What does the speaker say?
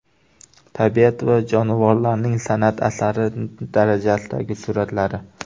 Tabiat va jonivorlarning san’at asari darajasidagi suratlari.